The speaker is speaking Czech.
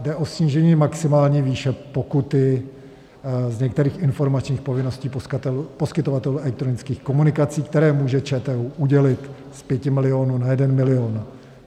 Jde o snížení maximální výše pokuty z některých informačních povinností poskytovatelů elektronických komunikací, které může ČTÚ udělit, z 5 milionů na 1 milion.